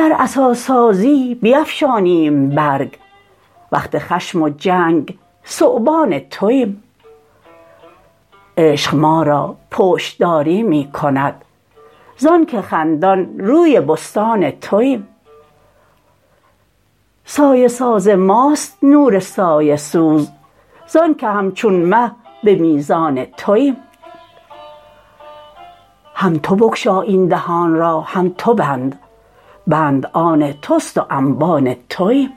توییم گر عصا سازیم بیفشانیم برگ وقت خشم و جنگ ثعبان توییم عشق ما را پشت داری می کند زانک خندان روی بستان توییم سایه ساز ماست نور سایه سوز زانک همچون مه به میزان توییم هم تو بگشا این دهان را هم تو بند بند آن توست و انبان توییم